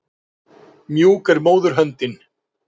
En aftur að banönum.